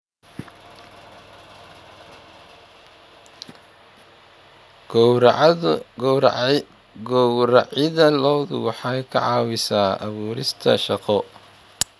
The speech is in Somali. Gowracidda lo'du waxay ka caawisaa abuurista shaqo.